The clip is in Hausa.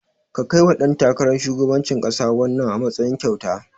Ka kaiwa ɗan takarar shugabancin ƙasa wannan, a matsayin kyauta.